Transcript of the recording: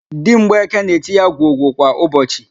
Di mgbeke na-eti ya gwogwo kwa ụbọchị